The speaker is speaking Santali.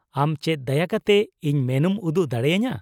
ᱟᱢ ᱪᱮᱫ ᱫᱟᱭᱟ ᱠᱟᱛᱮ ᱤᱧ ᱢᱮᱱᱩᱢ ᱩᱫᱩᱜ ᱫᱟᱲᱮᱭᱟᱹᱧᱟᱹ ?